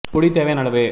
புளி தேவையான அளவு